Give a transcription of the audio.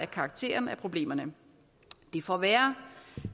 karakteren af problemerne det får være